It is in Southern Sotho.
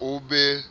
e be